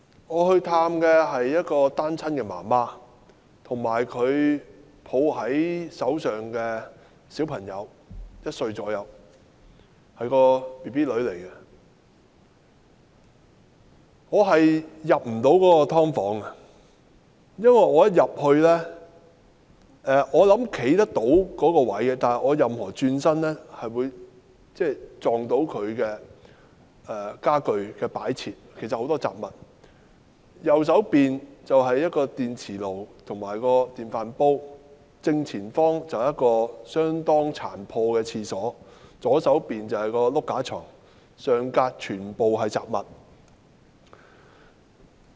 我探訪了一位單親母親和她手抱大約1歲的女兒，我並不能夠進入她的"劏房"，因為雖然我也能夠在屋內站立，但只要轉身便會撞到她的家具和擺設，那裏有很多雜物，右邊是電磁爐和電飯煲，正前方是相當殘破的廁所，左邊是雙層床，上層全部是雜物。